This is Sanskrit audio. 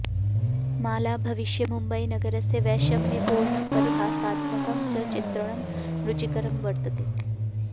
मालाभविष्ये मुम्बईनगरस्य वैषम्यपूर्णं परिहासात्मकं च चित्रणं रुचिकरं वर्तते